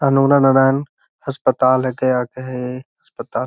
अनुरा नारायण अस्पताल अस्पताल।